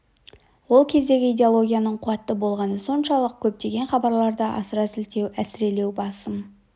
ол кездегі идеологияның қуатты болғаны соншалық көптеген хабарларда асыра сілтеу әсірелеу басым